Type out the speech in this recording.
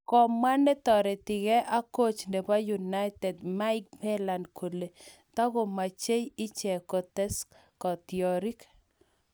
Kamwa netoretigei ak coach nebo United, Mike Phelan kole takomechei ichek kotes katiorik